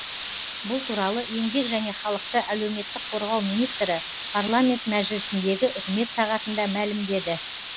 бұл туралы еңбек және халықты әлеуметтік қорғау министрі парламент мәжілісіндегі үкімет сағатында мәлімдеді